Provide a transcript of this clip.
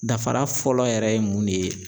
Dafara fɔlɔ yɛrɛ ye mun de ye?